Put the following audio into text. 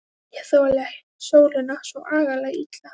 Ég þoli sólina svo agalega illa.